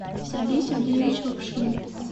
сергей сергеевич лапшин